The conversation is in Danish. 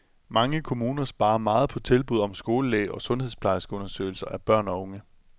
Mange kommuner sparer meget på tilbud om skolelæge og sundhedsplejerskeundersøgelser af børn og unge.